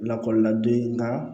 Lakɔlila den ŋa